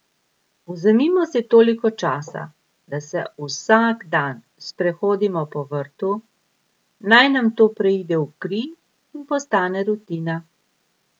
Vzemimo si toliko časa, da se vsak dan sprehodimo po vrtu, naj nam to preide v kri in postane rutina.